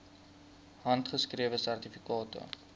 handgeskrewe sertifikate